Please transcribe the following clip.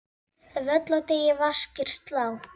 Völl á degi vaskir slá.